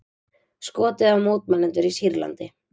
Skotið á mótmælendur í Sýrlandi